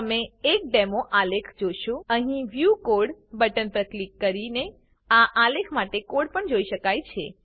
તમે એક ડેમો આલેખ જોશો અહીં વ્યૂ કોડ બટન પર ક્લિક કરીને આ આલેખ માટે કોડ પણ જોઈ શકાય છે